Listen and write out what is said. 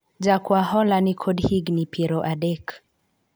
jakwa hola nikod higni piero adek